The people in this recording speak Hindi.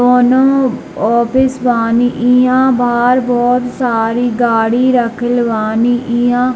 कोनो ऑफिस बानी ईहां बहार बहुत सारी गाड़ी राखल बानी ईहां --